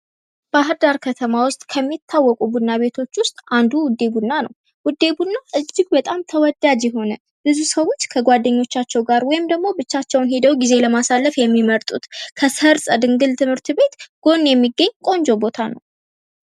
ባህርዳር ከተማ ውስጥ ከሚታወቁ ቡና ቤቶች ውስጥ አንዱ ውዴ ቡና ነው። ውዴ ቡና በጣም ተወዳጅ የሆነ ብዙ ሰዎች ከጓደኞቻቸው ጋር ወይም ደግሞ ብቻቸውን ሄደው ጊዜ ለማሳለፍ የሚመጡት ከሰርፅ ድንግል ትምህርት ቤት ጎን የሚገኝ ቆንጆ ቦታ ነው።